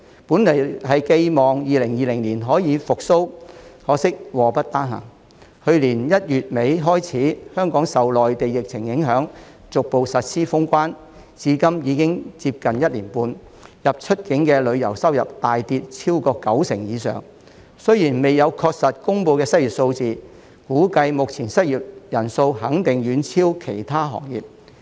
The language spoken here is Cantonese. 本來寄望2020年可以復蘇，可惜禍不單行，去年1月底開始香港受內地疫情影響，逐步實施封關，至今已經接近1年半，入、出境旅遊收入大跌超過九成以上，雖然未有確實公布的失業數字，估計目前的失業率肯定遠超其他行業。